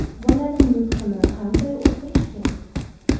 Bolaning nutqini qanday o‘stirish kerak?